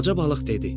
Balaca balıq dedi: